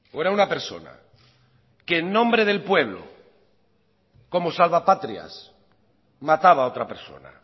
era una persona que en nombre del pueblo como salvapatrias mataba a otra persona